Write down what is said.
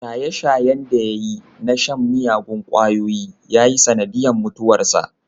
Shaye-shayen da ya yi na shan miyagun kwayoyi ya yi sanadin mutuwarsa.